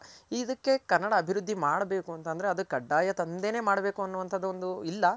ಇದಕ್ಕೆ ಕನ್ನಡ ಅಭಿವೃದ್ದಿ ಮಾಡ್ಬೇಕು ಅಂತಂದ್ರೆ ಅದು ಕಡ್ಡಾಯ ತಂದೇನೆ ಮಾಡ್ಬೇಕು ಅನ್ನೋದಿಲ್ಲ